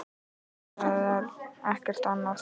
Nú, það er ekkert annað.